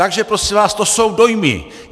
Takže prosím vás, to jsou dojmy.